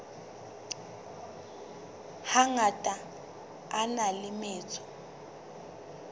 hangata a na le metso